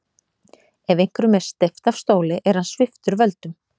Ef einhverjum er steypt af stóli er hann sviptur völdum.